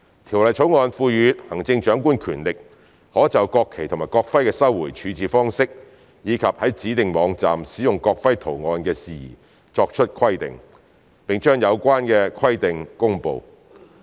《條例草案》賦予行政長官權力，可就國旗及國徽的收回處置方式，以及在指定網站使用國徽圖案的事宜作出規定，並將有關規定公布。